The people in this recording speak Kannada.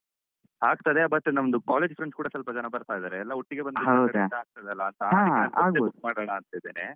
ಹಾ ಆಗ್ತದೆ but ನಮ್ದು college friends ಕೂಡ ಸ್ವಲ್ಪ ಜನಬರ್ತಾ ಇದ್ದಾರೆ ಎಲ್ಲ ಒಟ್ಟಿಗೆ ಬಂದ್ರೆ ಸ್ವಲ್ಪ ಇದಾಗ್ತಾದಲ್ಲ ಅಂತ ಹೌದಾ ಅದಿಕ್ಕೆ bus book ಮಾಡಣಾಂತ್ತಿದ್ದೇನೆ.